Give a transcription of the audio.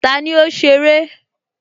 Tani ó ṣeré?